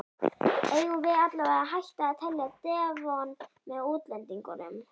Eigum við allavega að hætta að telja Devon með útlendingunum?